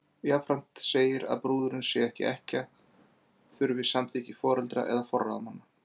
Jafnframt segir að brúðurin, sé hún ekki ekkja, þurfi samþykki foreldra eða forráðamanna.